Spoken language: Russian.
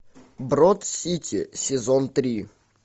брод сити сезон три